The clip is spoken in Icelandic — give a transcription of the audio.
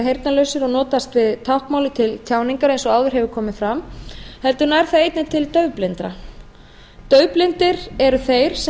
heyrnarlausir og nota því táknmálið til tjáningar eins og áður hefur komið fram heldur nær það einnig til daufblindra daufblindir eru þeir sem